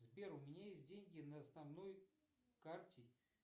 сбер у меня есть деньги на основной карте